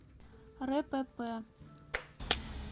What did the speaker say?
рэпэпэ